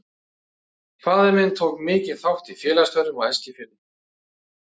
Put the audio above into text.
Faðir minn tók mikinn þátt í félagsstörfum á Eskifirði, einkum í Verkalýðs- félaginu.